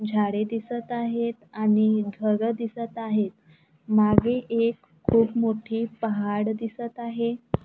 झाडे दिसतं आहेत आणि घर दिसतं आहेत. मागे एक खूप मोठी पहाड दिसतं आहे.